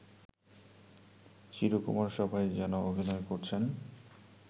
চিরকুমার সভা’য় যেমন অভিনয় করেছেন